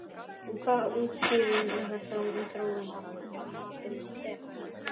En hvað útskýrir þessa þróun að mati Stefáns?